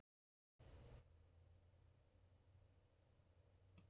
En hvar var Sigmundur?